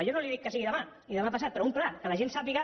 jo no li dic que sigui demà ni demà passat però un pla que la gent sàpiga